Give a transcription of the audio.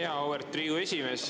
Auväärt Riigikogu esimees!